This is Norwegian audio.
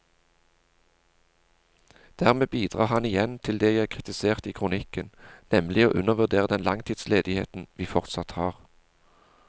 Dermed bidrar han igjen til det jeg kritiserte i kronikken, nemlig å undervurdere den langtidsledigheten vi fortsatt har.